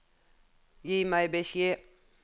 Gi meg beskjed